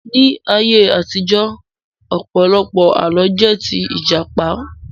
Ní ayé àtijọ́, ọ̀pọ̀lọpọ̀ Àlọ́ jẹ́ tí Ìjàpá